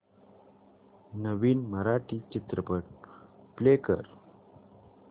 नवीन मराठी चित्रपट प्ले कर